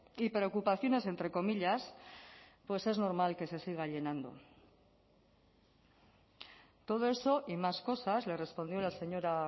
y preocupaciones entre comillas pues es normal que se siga llenando todo eso y más cosas le respondió la señora